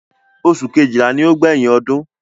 Oṣù kejìlá ni ó gbẹ̀yìn ọdún.